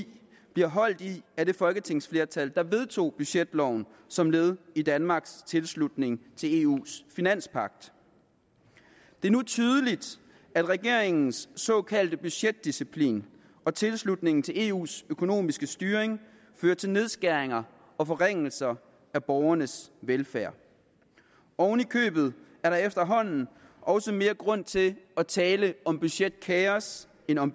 bliver holdt i af det folketingsflertal der vedtog budgetloven som led i danmarks tilslutning til eus finanspagt det er nu tydeligt at regeringens såkaldte budgetdisciplin og tilslutning til eus økonomiske styring fører til nedskæringer og forringelser af borgernes velfærd ovenikøbet er der efterhånden også mere grund til at tale om budgetkaos end om